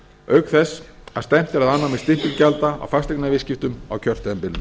auk þess að stefnt er að afnámi stimpilgjalda í fasteignaviðskiptum á kjörtímabilinu